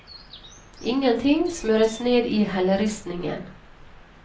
Ingen ting smøres ned i helleristningen.